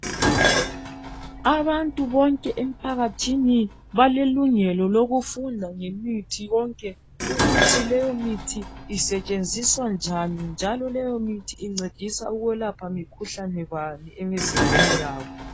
Abantu bonke emphakathini balelungelo lokufunda ngemithi yonke ukuthi leyo mithi isetshenziswa kanjani njalo leyomithi incedisa ukwelapha mikhuhlane bani emizimbeni yabo.